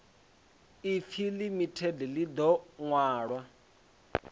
ipfi limited ḽi ḓo ṅwalwa